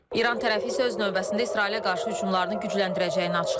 İran tərəfi isə öz növbəsində İsrailə qarşı hücumlarını gücləndirəcəyini açıqlayıb.